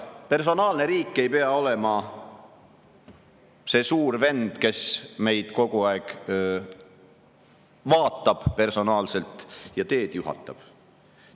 Personaalne riik ei pea olema see suur vend, kes meid kogu aeg vaatab personaalselt ja teed juhatab.